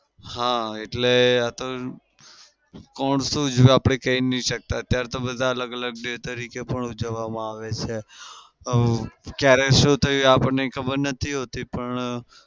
હા એટલે આતો કોણ શું અત્યારે તો બધા અલગ-અલગ day તરીકે પણ ઉજવવામાં આવે છે. ક્યારે શું થયું આપણને ખબર નથી હોતી પણ